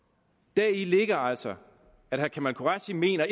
deri ligger altså at herre kamal qureshi mener